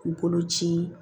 K'u bolo ci